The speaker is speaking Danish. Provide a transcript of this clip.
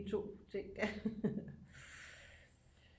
De to ting